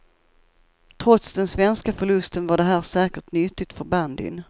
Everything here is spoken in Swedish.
Trots den svenska förlusten var det här säkert nyttigt för bandyn.